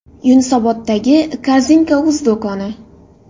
Yunusoboddagi Korzinka.uz do‘koni.